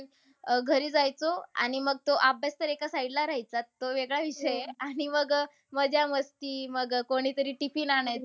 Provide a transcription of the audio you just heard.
अह घरी जायचो आणि मग तो अभ्यास तर एका side ला राहायचा. तो वेगळा विषय आहे. आणि मग अह मजा-मस्ती मग कोणीतरी tiffin आणायचं.